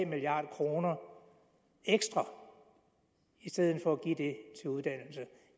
milliard kroner ekstra i stedet for